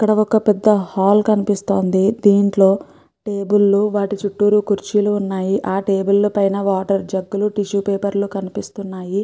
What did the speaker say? ఇక్కడ ఒక పెద్ద హాల్ కణుపిస్తోంది. దీంట్లో టెబుల్ వాటి చుట్టూరు కుర్చీలు ఉన్నాయి. ఆ టెబుల్ పైన వాటర్ జగ్ లు టిష్యూ పేపర్ లు కనిపిస్తున్నాయి.